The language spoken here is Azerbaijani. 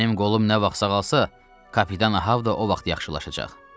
Mənim qolum nə vaxt sağalsa, kapitan Ahav da o vaxt yaxşılaşacaq.